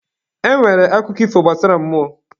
E nwere akụkọ ifo gbasara mmụọ.